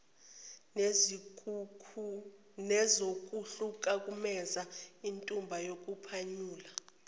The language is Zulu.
nezokuhlukumezeka intuba yokuphunyula